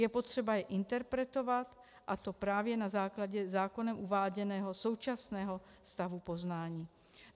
Je potřeba je interpretovat, a to právě na základě zákonem uváděného současného stavu poznání.